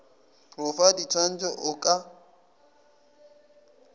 go fa ditshwaetšo o ka